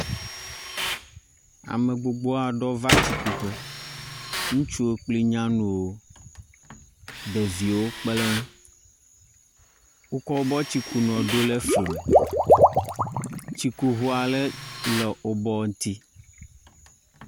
Ame gbogbo aɖrwo va tsikuƒe. Ŋutsuwo kple nyanuwo, ɖeviwo kpe ɖe ŋu. Wokɔ woƒe tsikunuwo ɖo ɖe fli me. Tsikuŋu aɖe le wobe ŋutsi.